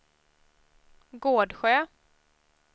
Gårdsjö